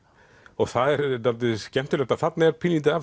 og það er dálítið skemmtilegt að þarna er pínulítið af